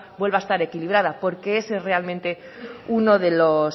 vuelva a estar equilibrada porque ese es realmente uno de los